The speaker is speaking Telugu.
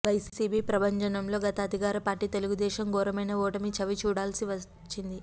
వైసీపీ ప్రభంజనంలో గత అధికార పార్టీ తెలుగు దేశం ఘోరమైన ఓటమి చవిచూడాల్సి వచ్చింది